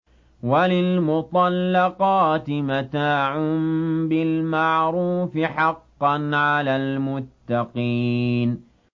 وَلِلْمُطَلَّقَاتِ مَتَاعٌ بِالْمَعْرُوفِ ۖ حَقًّا عَلَى الْمُتَّقِينَ